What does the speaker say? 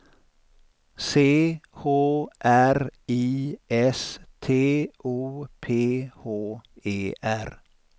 C H R I S T O P H E R